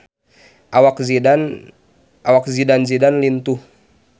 Awak Zidane Zidane lintuh